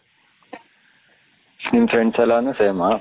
ನಿನ್ನ friends ಎಲ್ಲ ನು same ಹ